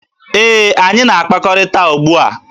Ee, anyị na-akpakọrịta ugbua.